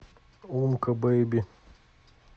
умка бэйби